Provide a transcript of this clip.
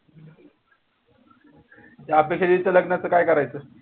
ते आपल्या शेरीच्या लग्नाच काय करायचं?